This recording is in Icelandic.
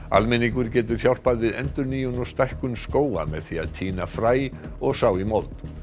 almenningur getur hjálpað við endurnýjun og stækkun skóga með því að tína fræ og sá í mold